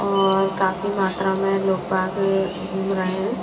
और काफी मात्रा में लोग बाग घूम रहे हैं।